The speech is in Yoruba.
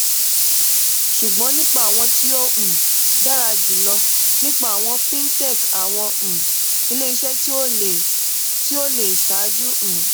ṣugbọn nipa awọn ti o um dara julọ nipa awọn fintech awọn um ile-iṣẹ ti o le ti o le ṣaaju um